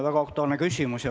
Väga aktuaalne küsimus.